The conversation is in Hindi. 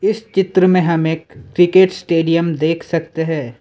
चित्र में हम एक क्रिकेट स्टेडियम देख सकते हैं।